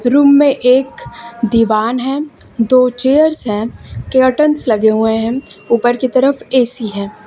Room में एक दीवान है दो चेयर्स है केअटन्स लगे हुए हैं ऊपर की तरफ ए_सी है।